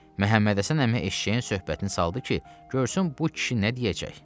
Məhəmmədhəsən əmi eşşəyin söhbətini saldı ki, görsün bu kişi nə deyəcək.